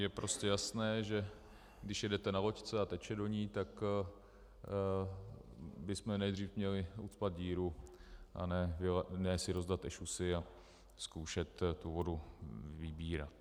Je prostě jasné, že když jedete na loďce a teče do ní, tak bychom nejdříve měli ucpat díru, a ne si rozdat ešusy a zkoušet tu vodu vybírat.